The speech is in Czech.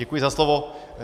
Děkuji za slovo.